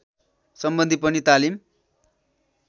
सम्बन्धी पनि तालिम